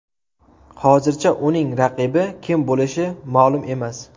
Hozircha uning raqibi kim bo‘lishi ma’lum emas.